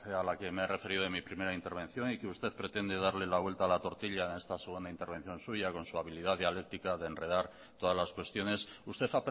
a la que me he referido en mi primera intervención y que usted pretende darle la vuelta a la tortilla en esta segunda intervención suya con su habilidad dialéctica de enredar todas las cuestiones usted